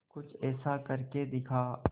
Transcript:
कुछ ऐसा करके दिखा